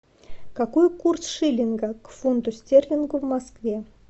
какой курс шиллинга к фунту стерлинга в москве